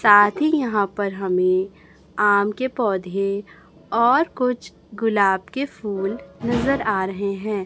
साथी यहां पर हमें आम के पौधे और कुछ गुलाब के फूल नजर आ रहे हैं।